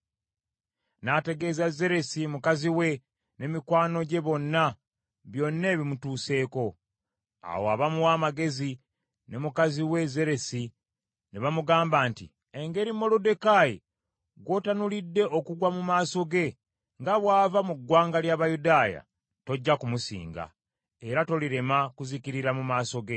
n’ategeeza Zeresi mukazi we ne mikwano gye bonna byonna ebimutuuseeko. Awo abamuwa amagezi ne mukazi we Zeresi ne bamugamba nti, “Engeri Moluddekaayi gw’otanulidde okugwa mu maaso ge, nga bw’ava mu ggwanga ly’Abayudaaya, tojja kumusinga, era tolirema kuzikirira mu maaso ge.”